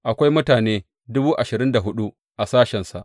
Akwai mutane dubu ashirin da hudu a sashensa.